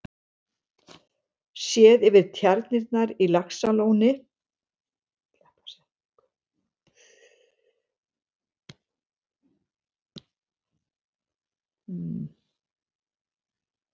Séð yfir tjarnirnar á Laxalóni þegar þær voru allar í notkun.